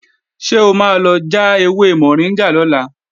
Ṣé o máa lọ já ewé mọ̀ríngà lọ́la?